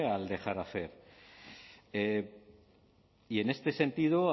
al dejar hacer y en este sentido